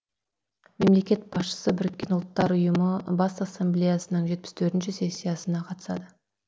мемлекет басшысы біріккен ұлттар ұйымы бас ассамблеясының жетпіс төртінші сессиясына қатысады